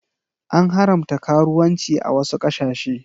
An haramta karuwanci a wasu ƙasashe.